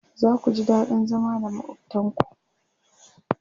zaku ji daɗin zama da makwaftan ku